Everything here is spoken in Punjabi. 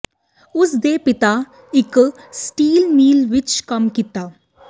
ਉਸ ਦੇ ਪਿਤਾ ਇੱਕ ਸਟੀਲ ਮਿੱਲ ਵਿਚ ਕੰਮ ਕੀਤਾ